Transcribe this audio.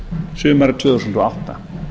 sumarið tvö þúsund og átta